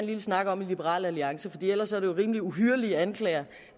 lille snak om i liberal alliance for ellers er det jo rimelig uhyrlige anklager